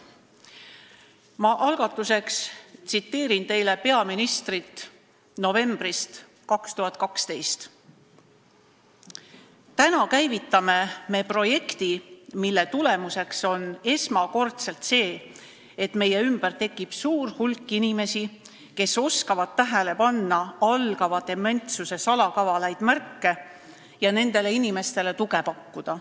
Ma algatuseks tsiteerin teile peaministrit novembrist 2012: "Täna käivitame me projekti, mille tulemuseks on esmakordselt see, et meie ümber tekib suur hulk inimesi, kes oskavad tähele panna algava dementsuse salakavalaid märke ja nendele inimestele tuge pakkuda.